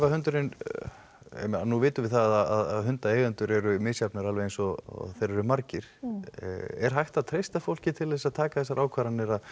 hundurinn ég meina nú vitum við það að hundaeigendur eru misjafnir eins og þeir eru margir er hægt að treysta fólk til þess að taka þessar ákvarðanir að